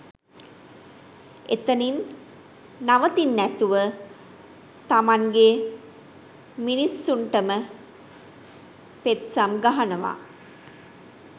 එතනින් නවතින්නැතුව තමන්ගෙ මිනිස්සුන්ටම පෙත්සම් ගහනවා